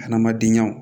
Hadamadenyaw